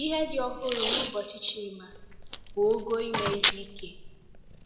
Ihe dị ọhụrụ n'ụbọchị Chima bụ ogo ime ihe ike.